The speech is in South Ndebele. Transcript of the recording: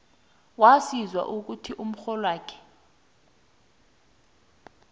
waziswa ukuthi umrholwakho